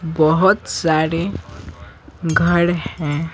बहुत सारे घर हैं।